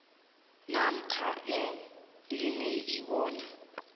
namkha ikliniki bona